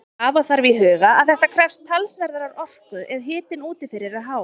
Hafa þarf í huga að þetta krefst talsverðrar orku ef hitinn úti fyrir er hár.